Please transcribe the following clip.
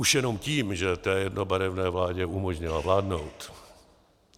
Už jenom tím, že té jednobarevné vládě umožnila vládnout.